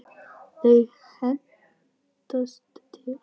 Þau hendast til.